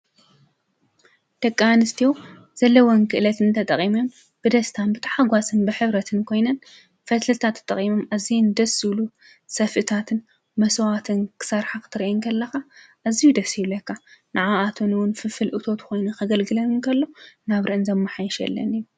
ደቂ ኣነስትዮ ዘለወን ክእለት ተጠቂመን ብደስታን ብታሕጓስን ብሕብረትን ኮይነን ፈትልታት ተጠቂመን ኣዚዮም ደስ ዝብሉ ሰፍእታትን መሰባትን ክሰርሓ ክትሪአን ከለካ ኣዝዩ ደስ ይብለካ፡፡ ንዓኣተን እውን ፍልፍል እቶት ኮይኑ ከገልግለን ከሎ ናብረአን የማሓይሸለን እዩ፡፡